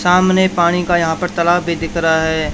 सामने पानी का यहां पर तालाब भी दिख रहा है।